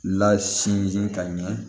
Lasin ka ɲɛ